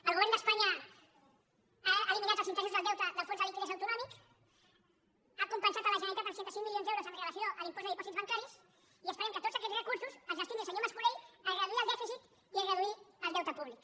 el govern d’espanya ha eliminat els interessos del deute del fons de liquiditat autonòmica ha compensat la generalitat amb seixanta cinc milions d’euros amb relació a l’impost de dipòsits bancaris i esperem que tots aquests recursos els destini el senyor mascolell a reduir el dèficit i a reduir el deute públic